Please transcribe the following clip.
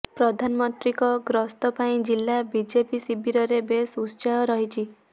ପ୍ରଧାନମନ୍ତ୍ରୀଙ୍କ ଗସ୍ତ ପାଇଁ ଜିଲ୍ଲା ବିଜେପି ଶିବିରରେ ବେଶ ଉତ୍ସାହ ରହିଛି